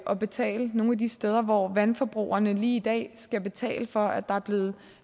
at betale nogle af de steder hvor vandforbrugerne lige i dag skal betale for at der er blevet